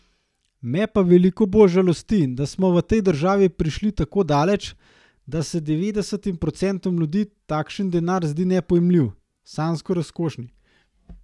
Me pa veliko bolj žalosti, da smo v tej državi prišli tako daleč, da se devetdesetim procentom ljudi takšen denar zdi nepojmljivo, sanjsko razkošje.